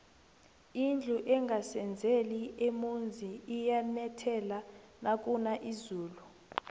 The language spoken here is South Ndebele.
indlu engasezeli emonzi iyanethela nakuna izulu